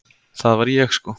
Það var ég sko!